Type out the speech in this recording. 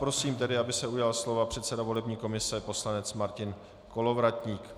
Prosím tedy, aby se ujal slova předseda volební komise poslanec Martin Kolovratník.